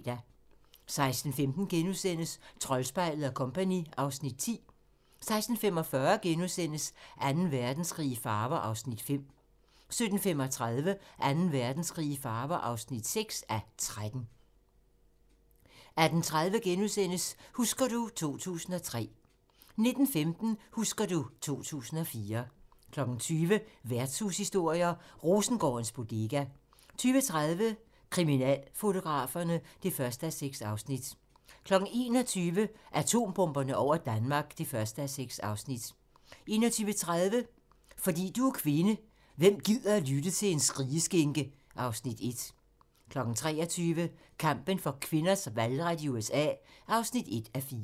16:15: Troldspejlet & Co. (Afs. 10)* 16:45: Anden Verdenskrig i farver (5:13)* 17:35: Anden Verdenskrig i farver (6:13) 18:30: Husker du ... 2003 * 19:15: Husker du ... 2004 20:00: Værtshushistorier: Rosengårdens Bodega 20:30: Kriminalfotograferne (1:6) 21:00: Atombomberne over Danmark (1:6) 21:30: Fordi du er kvinde: Hvem gider lytte til en skrigeskinke? (Afs. 1) 23:00: Kampen for kvinders valgret i USA (1:4)